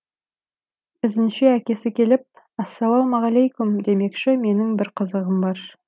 ізінше әкесі келіп ассалаумағалейкүм демекші менің бір қызығым бар